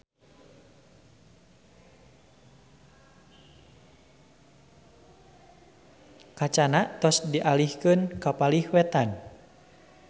Kacana tos dialihkeun ka palih wetan